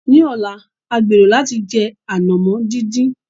Ní ọ̀la, a gbèrò láti jẹ ànàmọ́ dídín.